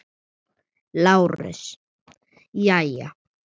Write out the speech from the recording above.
LÁRUS: Jæja.